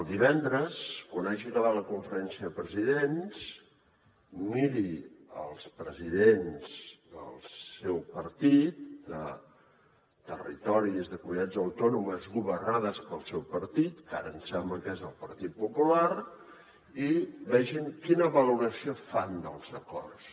divendres quan hagi acabat la conferència de presidents miri els presidents del seu partit de territoris de comunitats autònomes governades pel seu partit que ara em sembla que és el partit popular i vegin quina valoració fan dels acords